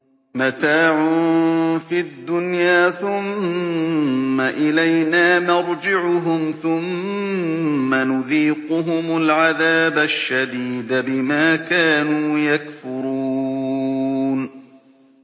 مَتَاعٌ فِي الدُّنْيَا ثُمَّ إِلَيْنَا مَرْجِعُهُمْ ثُمَّ نُذِيقُهُمُ الْعَذَابَ الشَّدِيدَ بِمَا كَانُوا يَكْفُرُونَ